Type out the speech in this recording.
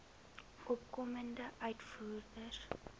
opkomende uitvoerders